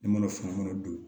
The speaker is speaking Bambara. Ne mana fɛn fɛn don